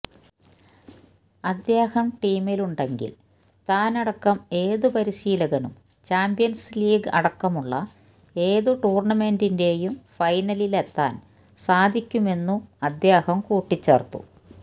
അദ്ദേഹം ടീമിലുണ്ടെങ്കില് താനടക്കം ഏതു പരിശീലകനും ചാമ്പ്യന്സ് ലീഗ് അടക്കമുള്ള ഏതു ടൂര്ണമെന്റിന്റെയും ഫൈനലിലെത്താന് സാധിക്കുമെന്നും അദ്ദേഹം കൂട്ടിച്ചേര്ത്തു